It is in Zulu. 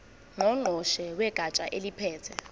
ngqongqoshe wegatsha eliphethe